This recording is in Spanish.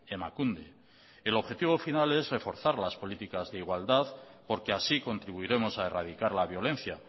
emakunde el objetivo final es reforzar las políticas de igualdad porque así contribuiremos a erradicar la violencia